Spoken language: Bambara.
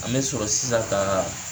An bɛ sɔrɔ sisan ka